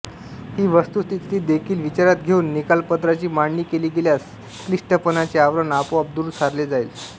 ही वस्तुस्थिती देखील विचारात घेऊन निकालपत्राची मांडणी केली गेल्यास क्लिष्टपणाचे आवरण आपोआप दूर सारले जाईल